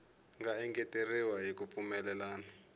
nga engeteriwa hi ku pfumelelana